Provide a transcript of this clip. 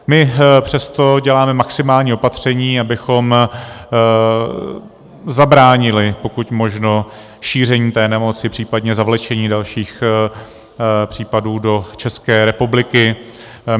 My přesto děláme maximální opatření, abychom zabránili pokud možno šíření té nemoci, případně zavlečení dalších případů do České republiky.